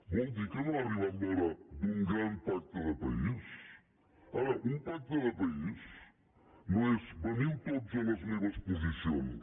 vol dir que no ha arribat l’hora d’un gran pacte de país ara un pacte de país no és veniu tots a les meves posicions